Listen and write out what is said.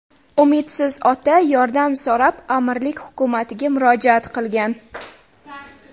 Umidsiz ota yordam so‘rab amirlik hukumatiga murojaat qilgan.